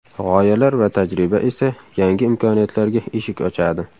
G‘oyalar va tajriba esa yangi imkoniyatlarga eshik ochadi.